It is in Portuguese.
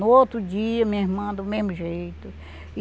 No outro dia, minha irmã, do mesmo jeito.